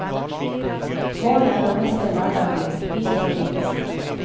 Målet er å mestre hverdagen, bit for bit.